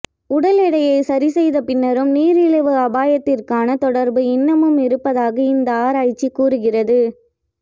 உடல் எடையை சரி செய்த பின்னரும் நீரிழிவு அபாயத்திற்கான தொடர்பு இன்னமும் இருப்பதாக இந்த ஆராய்ச்சி கூறுகிறது